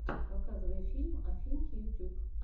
показывай фильм афинки ютюб